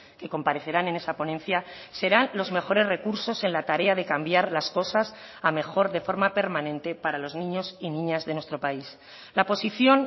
que comparecerán en esa ponencia serán los mejores recursos en la tarea de cambiar las cosas a mejor de forma permanente para los niños y niñas de nuestro país la posición